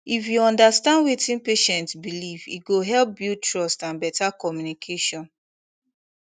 if you understand wetin patient believe e go help build trust and better communication